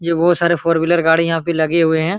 ये बहुत सारे फॉरवीलर गाड़ी यहाँ पे लगी हुए है।